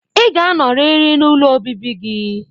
Ị ga-anọrịrị n'ụlọ obibi gị